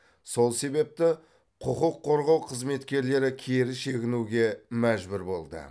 сол себепті құқыққорғау қызметкерлері кері шегінуге мәжбүр болды